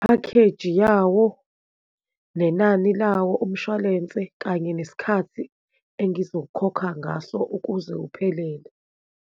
Phakheji yawo, nenani lawo umshwalense, kanye nesikhathi engizokhokha ngaso ukuze uphelele.